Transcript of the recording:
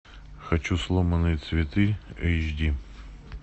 хочу сломанные цветы эйч ди